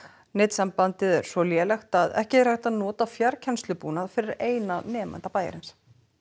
netsambandið er svo lélegt að ekki er hægt að nota fjarkennslubúnað fyrir eina nemanda bæjarins